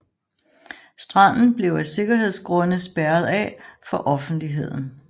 Stranden blev af sikkerhedsgrunde spærret af for offentligheden